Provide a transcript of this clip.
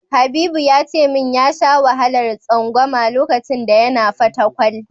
Habibu ya ce min ya sha wahalar tsangwama lokacin da yana Fatakwal.